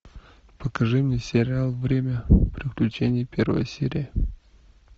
покажи мне сериал время приключений первая серия